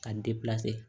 Ka